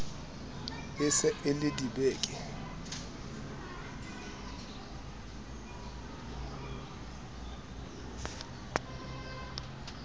e se e ie dibeke